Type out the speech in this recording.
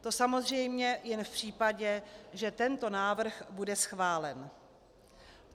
To samozřejmě jen v případě, že tento návrh bude schválen.